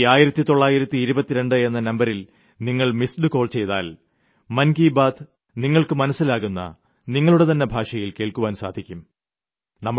ഈ 1922 എന്ന നമ്പരിൽ നിങ്ങൾ മിസ്ഡ് കോൾ ചെയ്താൽ മൻ കി ബാത് നിങ്ങൾക്ക് മനസ്സിലാകുന്ന നിങ്ങളുടെതന്നെ ഭാഷയിൽ കേൾക്കുവാൻ സാധിക്കും